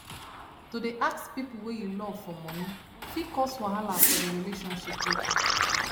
to dey ask people wey you love for money fit cause wahala for the relationship later